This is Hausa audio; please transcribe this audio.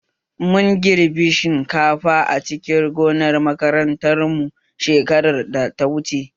Mun girbe shinkafa a cikin gonar makaranta mu shekarar da ta wuche